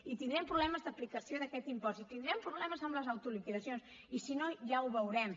i tindrem problemes d’aplicació d’aquest impost i tindrem problemes amb les autoliquidacions i si no ja ho veurem